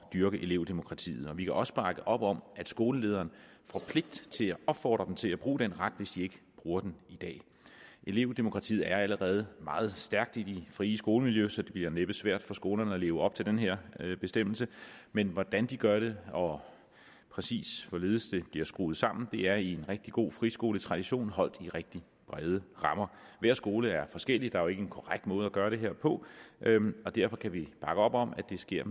dyrke elevdemokratiet vi kan også bakke op om at skolelederen får pligt til at opfordre dem til at bruge den ret hvis de ikke bruger den i dag elevdemokratiet er allerede meget stærkt i det frie skolemiljø så det bliver næppe svært for skolerne at leve op til den her bestemmelse men hvordan de gør det og præcis hvorledes det bliver skruet sammen er i en rigtig god friskoletradition holdt i rigtig brede rammer hver skole er forskellig der er ikke en korrekt måde at gøre det her på og derfor kan vi bakke op om at det sker